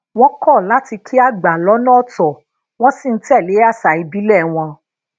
wón kó lati ki àgbà lónà otò wón sì ń tè lé àṣà ìbílè wọn